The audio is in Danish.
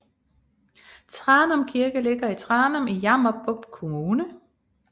Tranum Kirke ligger i Tranum i Jammerbugt Kommune